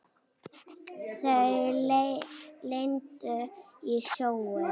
Þau lentu í sjónum.